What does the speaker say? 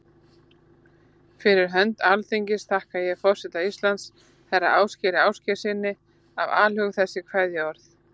Fyrir hönd Alþingis þakka ég forseta Íslands, herra Ásgeiri Ásgeirssyni, af alhug þessi kveðjuorð.